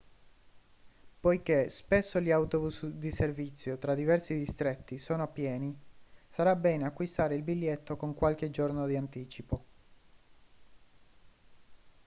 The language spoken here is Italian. poiché spesso gli autobus di servizio tra diversi distretti sono pieni sarà bene acquistare il biglietto con qualche giorno di anticipo